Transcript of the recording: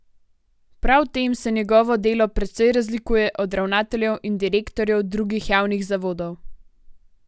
Prav v tem se njegovo delo precej razlikuje od ravnateljev in direktorjev drugih javnih zavodov.